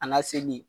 An ka seli